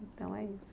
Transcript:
Então é isso.